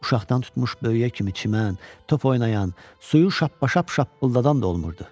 Uşaqdan tutmuş böyüyə kimi çimən, top oynayan, suyu şappa-şap şappıldadan da olmurdu.